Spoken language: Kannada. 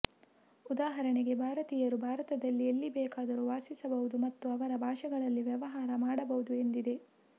ಉದಾಹರಣೆಗೆ ಭಾರತೀಯರು ಭಾರತದಲ್ಲಿ ಎಲ್ಲಿ ಬೇಕಾದರೂ ವಾಸಿಸಬಹುದು ಮತ್ತು ಅವರ ಭಾಷೆಗಳಲ್ಲಿ ವ್ಯವಹಾರ ಮಾಡಬಹುದು ಎಂದಿದೆ